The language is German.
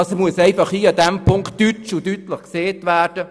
Das muss hier ganz deutlich gesagt werden!